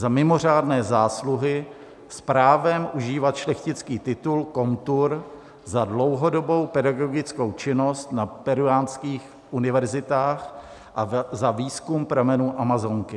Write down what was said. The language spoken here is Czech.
Za mimořádné zásluhy s právem užívat šlechtický titul komtur za dlouhodobou pedagogickou činnost na peruánských univerzitách a za výzkum pramenů Amazonky.